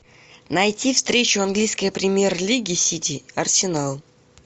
найти встречу английской премьер лиги сити арсенал